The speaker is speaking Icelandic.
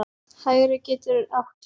Hægri getur átt við